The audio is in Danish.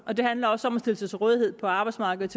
og det handler også om at stille sig til rådighed på arbejdsmarkedet